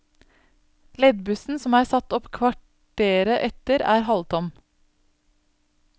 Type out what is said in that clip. Leddbussen som er satt opp kvarteret etter, er halvtom.